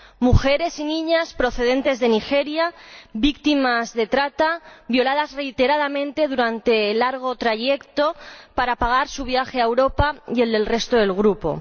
Mujeres y niñas procedentes de Nigeria, víctimas de trata, violadas reiteradamente durante el largo trayecto para pagar su viaje a Europa y el del resto del grupo.